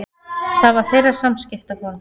Það var þeirra samskiptaform.